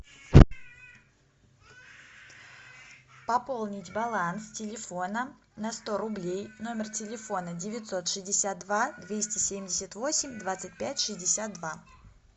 пополнить баланс телефона на сто рублей номер телефона девятьсот шестьдесят два двести семьдесят восемь двадцать пять шестьдесят два